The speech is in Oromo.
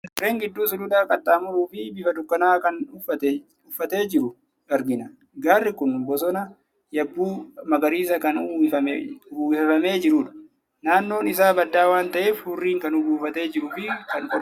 Gaarreen gidduu suluula qaxxaamuruu fi bifa dukkanaa'aa kan uffatee jiru argina. Gaarri kun boson yabbuu magariisaan kan uwwifamee jirudha. naannoon isaa baddaa waan ta'eef, hurriin kan buufatee jiruu fi kan qorrudha.